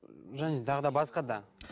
м және тағы да басқа да